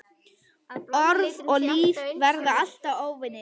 Orð og líf verða alltaf óvinir.